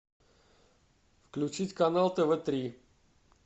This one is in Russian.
включить канал тв три